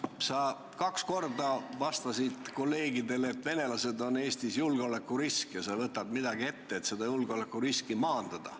Mart, sa kaks korda vastasid kolleegidele, et venelased on Eestis julgeolekurisk ja sa võtad midagi ette, et seda julgeolekuriski maandada.